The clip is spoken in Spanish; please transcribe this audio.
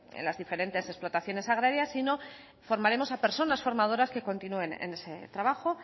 en las diferentes explotaciones agrarias sino formaremos a personas formadoras que continúen en ese trabajo